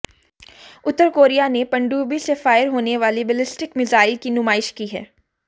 उत्तर Korea ने पनडुब्बी से फ़ायर होने वाली बैलिस्टिक मीज़ाईल की नुमाइश की है